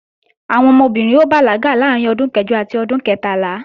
Àwọn ọmọbìnrin ó bàlágà láàárín ọdún kẹjọ àti ọdún kẹtàlá